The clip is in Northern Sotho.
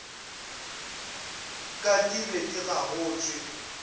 ka di be di gagotšwe